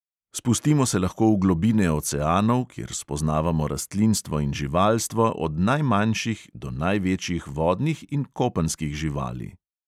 Spustimo se lahko v globine oceanov, kjer spoznavamo rastlinstvo in živalstvo od najmanjših do največjih vodnih in kopenskih živali.